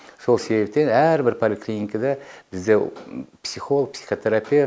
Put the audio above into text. сол себептен әрбір поликлиникада бізде психолог психотерапевт